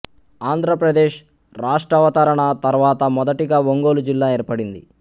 ఆంధ్ర ప్రదేశ్ రాష్ట్రావతరణ తర్వాత మొదటిగా ఒంగోలు జిల్లా ఏర్పడింది